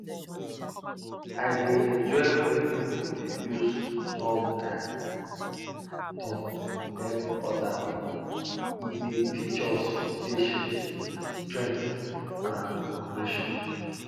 i dey enjoy wen pipo dey use turn by turn help oda pipo e dey teach us patience strength an cooperation